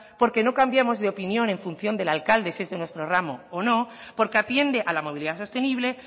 porque no cambiamos de opinión en función del alcalde si es de nuestro ramo o no porque atiende a la movilidad sostenible